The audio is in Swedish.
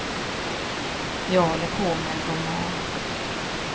Jag håller på med en roman.